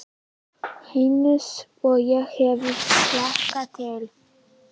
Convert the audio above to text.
Eins og ég hafði hlakkað til.